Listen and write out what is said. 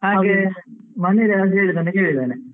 ಹಾಗೆ ಮೊನ್ನೆ ಆದದ್ದು ಕೇಳಿದ್ದೇನೆ.